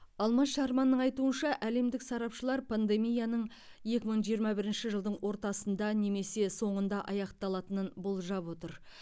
алмаз шарманның айтуынша әлемдік сарапшылар пандемияның екі мың жиырма бірінші жылдың ортасында немесе соңында аяқталатынын болжап отыр